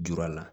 Jura la